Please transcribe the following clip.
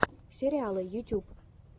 сериалы ютюб